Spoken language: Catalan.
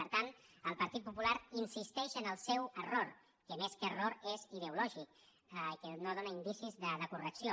per tant el partit popular insisteix en el seu error que més que error és ideològic i que no dóna indicis de correcció